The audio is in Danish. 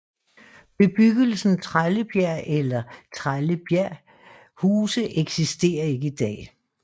Bebyggelsen Trællebjerg eller Trellebjerg Huse eksisterer ikke i dag